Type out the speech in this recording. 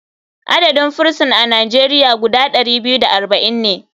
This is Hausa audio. Adadin firison a nigeria guda ɗari biyu da arba'in ne.